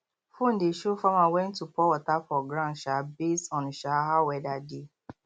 phone dey show farmer when to pour water for ground um based on um how weather dey